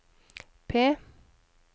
P